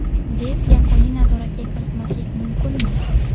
deb yakuniy nazoratga kiritmaslik mumkinmi?.